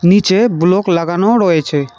নীচে ব্লক লাগানোও রয়েছে।